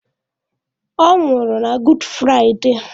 Ọ nwụrụ na Good Friday.